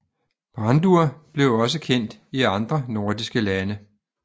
Brandur blev også kendt i andre nordiske lande